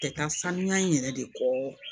Tɛ taa saniya in yɛrɛ de kɔ